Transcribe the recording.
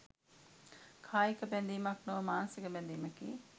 කායික බැඳීමක් නොව මානසික බැඳීමකි.